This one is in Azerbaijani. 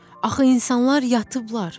Axı insanlar yatıblar.